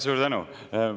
Suur tänu!